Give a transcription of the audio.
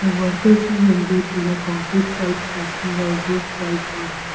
The workers are engaged in concrete selfcasting or group .